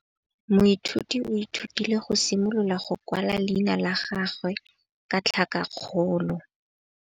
Moithuti o ithutile go simolola go kwala leina la gagwe ka tlhakakgolo.